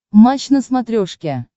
матч на смотрешке